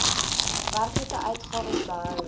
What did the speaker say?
werklike uitgawes bygehou